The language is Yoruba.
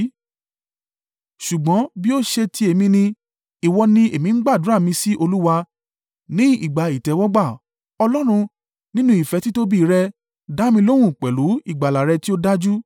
Ṣùgbọ́n bí ó ṣe ti èmi ni ìwọ ni èmi ń gbàdúrà mi sí Olúwa, ní ìgbà ìtẹ́wọ́gbà Ọlọ́run, nínú ìfẹ́ títóbi rẹ, dá mi lóhùn pẹ̀lú ìgbàlà rẹ tí ó dájú.